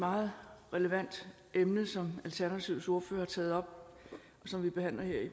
meget relevant emne som alternativets ordfører har taget op og som vi behandler her